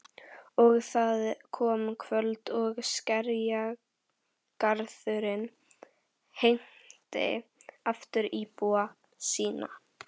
Og það kom kvöld og Skerjagarðurinn heimti aftur íbúa sína.